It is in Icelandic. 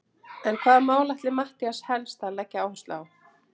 En hvaða mál ætlar Matthías helst að leggja áherslu á?